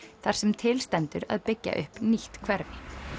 þar sem til stendur að byggja upp nýtt hverfi